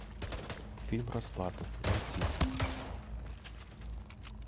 фильм расплата найти